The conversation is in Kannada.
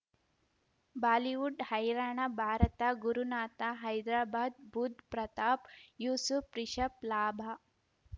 ಬಾಲಿವುಡ್ ಹೈರಾಣ ಭಾರತ ಗುರುನಾಥ ಹೈದರಾಬಾದ್ ಬುಧ್ ಪ್ರತಾಪ್ ಯೂಸುಫ್ ರಿಷಬ್ ಲಾಭ